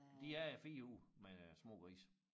De er der 4 uger med små grise